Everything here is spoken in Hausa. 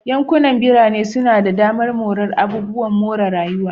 Yankunan birane suna da damar morar abubuwan more rayuwa.